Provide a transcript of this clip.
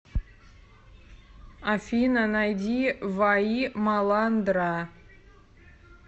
афина найди ваи маландра